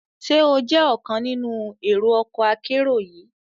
Ṣe o jẹ ọkan nínú ero ọkọ akero yii?